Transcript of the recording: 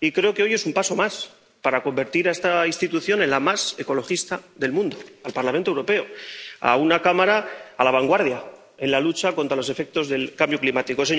y creo que hoy damos un paso más para convertir en la institución más ecologista del mundo al Parlamento Europeo, a una Cámara que está en la vanguardia en la lucha contra los efectos del cambio climático.